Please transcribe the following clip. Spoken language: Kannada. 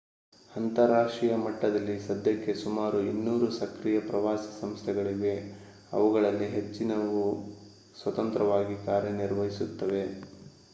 ಅಂತರರಾಷ್ಟ್ರೀಯ ಮಟ್ಟದಲ್ಲಿ ಸದ್ಯಕ್ಕೆ ಸುಮಾರು 200 ಸಕ್ರಿಯ ಪ್ರವಾಸಿ ಸಂಸ್ಥೆಗಳಿವೆ ಅವುಗಳಲ್ಲಿ ಹೆಚ್ಚಿನವು ಸ್ವತಂತ್ರವಾಗಿ ಕಾರ್ಯನಿರ್ವಹಿಸುತ್ತವೆ